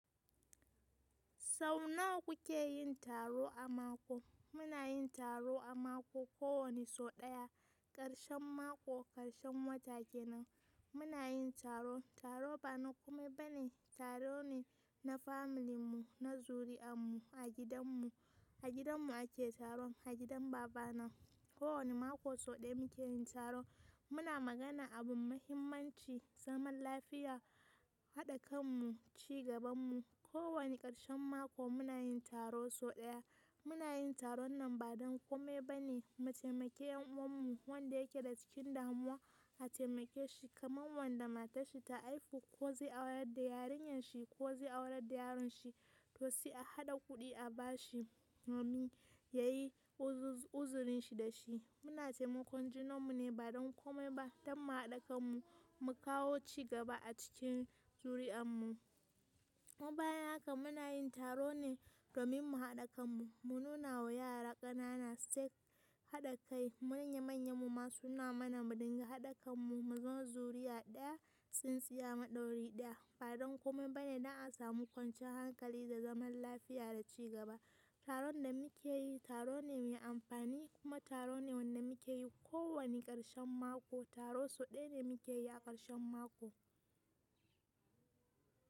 Sau nawa kuke yin taro a mako? Muna yin taro a mako kowane so ɗaya, ƙarshen mako ƙarshen wata kenan. Muna yin taro, taro ba na komai ba ne, taro ne na familin mu, na zuri'an mu a gidan mu, a gidan mu ake taron, a gidan baba na. Ko wane mako so ɗaya muke yin taro. Muna magana abun muhimmanci, zaman lafiya, haɗa kan mu, cigaban mu. Ko wane ƙarshen mako muna yin taro so ɗaya. Muna yin taron nan ba don komai ba ne, mu taimake yan uwan mu wanda yake da cikin damuwa a taimake shi kamar wanda matarshi ta haihu ko zai aurar da yarinyar shi ko zai aurar da yaron shi to sai a haɗa kuɗi a bashi domin ya yi uzurin shi da shi. Muna taimakon junan mu ne ba don komai ba, don mu haɗa kan mu mu kawo cigaba a cikin zuri'an mu. Kuma bayan haka muna yin taro ne domin mu haɗa kan mu, mu nuna wa yara ƙanana su san haɗa kai. Manya manyan mu masu nuna mana muduga haɗa kan mu, mu zama zuriya ɗaya, tsintsiya maɗauri ɗaya ba don komai ba ne don a samu kwanciyar hankali da zaman lafiya da cigaba. Taron da muke yi taro ne mai amfani kuma taro ne wanda muke yi ko wane karshen mako, taro sau daya ne muke yi ko wane karshen mako.